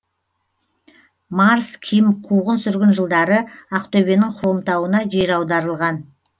марс ким қуғын сүргін жылдары ақтөбенің хромтауына жер аударылған